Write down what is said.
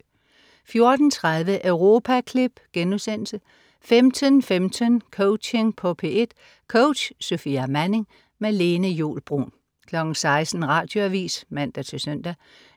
14.30 Europaklip* 15.15 Coaching på P1. Coach: Sofia Manning. Lene Juul Bruun 16.00 Radioavis (man-søn)